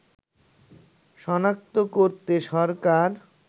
সনাক্ত করতে সরকার